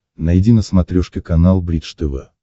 найди на смотрешке канал бридж тв